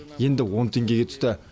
енді он теңгеге түсті